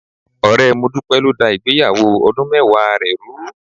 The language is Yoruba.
Ọ̀rẹ́ Modúpẹ́ ló dá ìgbéyàwó ọdún mẹ́wàá rẹ̀ rùú.